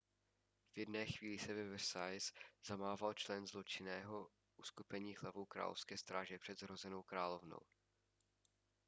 v jedné chvíli ve versailles zamával člen zločinného uskupení hlavou královské stráže před zhrozenou královnou